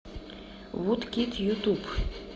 вудкид ютуб